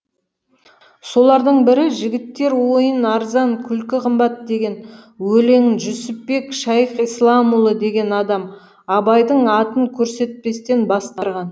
солардың бірі жігіттер ойын арзан күлкі қымбат деген өлеңін жүсіпбек шайықсіләмұлы деген адам абайдың атын көрсетпестен бастырған